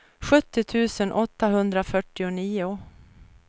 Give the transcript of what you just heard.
sjuttio tusen åttahundrafyrtionio